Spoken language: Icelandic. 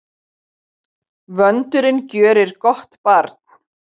Vöndurinn gjörir gott barn.